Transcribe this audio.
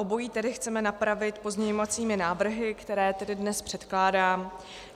Obojí tedy chceme napravit pozměňovacími návrhy, které tady dnes předkládám.